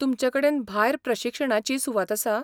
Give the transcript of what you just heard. तुमचे कडेन भायर प्रशिक्षणाचीय सुवात आसा?